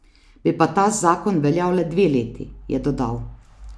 Bi pa ta zakon veljal le dve leti, je dodal.